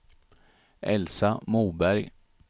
Elsa Moberg